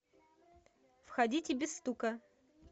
входите без стука